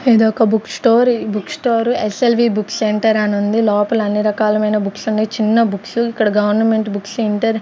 ఇది ఒక book store ఈ book store S L V book centre అని ఉంది లోపల అన్నీ రకాలమైన బుక్స్ ఉన్నాయి చిన్న బుక్స్ ఇక్కడ గవర్నమెంట్ బుక్స్ ఇంటర్ .